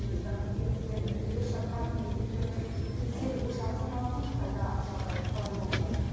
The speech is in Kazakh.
біздің елімізбен іргелес жатқан мемлекеттер мен кесел ошағы саналатын қытайда жағдай қалай болып жатыр